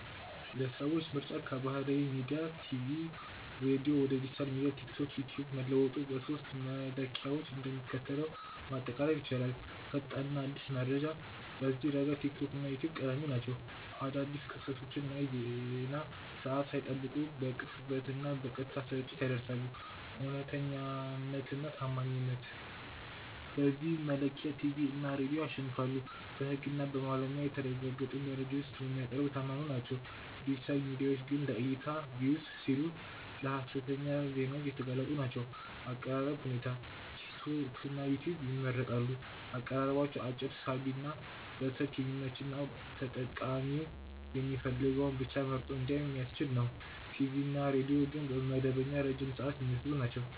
የሰዎች ምርጫ ከባህላዊ ሚዲያ (ቲቪ/ሬዲዮ) ወደ ዲጂታል ሚዲያ (ቲክቶክ/ዩትዩብ) መለወጡን በሦስቱ መለኪያዎች እንደሚከተለው ማጠቃለል ይቻላል፦ ፈጣንና አዲስ መረጃ፦ በዚህ ረገድ ቲክቶክ እና ዩትዩብ ቀዳሚ ናቸው። አዳዲስ ክስተቶችን የዜና ሰዓት ሳይጠብቁ በቅጽበትና በቀጥታ ስርጭት ያደርሳሉ። እውነተኛነትና ታማኝነት፦ በዚህ መለኪያ ቲቪ እና ሬዲዮ ያሸንፋሉ። በሕግና በባለሙያ የተጣሩ መረጃዎችን ስለሚያቀርቡ የታመኑ ናቸው፤ ዲጂታል ሚዲያዎች ግን ለዕይታ (Views) ሲሉ ለሀሰተኛ ዜናዎች የተጋለጡ ናቸው። የአቀራረብ ሁኔታ፦ ቲክቶክና ዩትዩብ ይመረጣሉ። አቀራረባቸው አጭር፣ ሳቢ፣ በስልክ የሚመች እና ተጠቃሚው የሚፈልገውን ብቻ መርጦ እንዲያይ የሚያስችል ነው። ቲቪ እና ሬዲዮ ግን መደበኛና ረጅም ሰዓት የሚወስዱ ናቸው።